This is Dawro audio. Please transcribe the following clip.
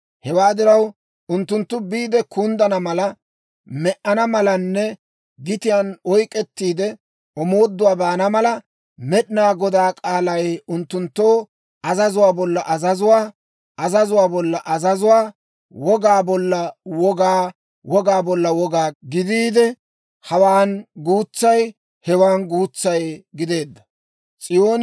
Hewaa diraw, unttunttu biide kunddana mala, me"ana malanne gitiyaan oyk'k'ettiide omooduwaa baana mala, Med'inaa Godaa k'aalay unttunttoo azazuwaa bolla azazuwaa, azazuwaa bolla azazuwaa, wogaa bolla wogaa, wogaa bolla wogaa gidiide, hawaan guutsay, hewan guutsay gideedda.